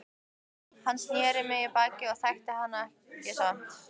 Hann sneri í mig baki en ég þekkti hann samt.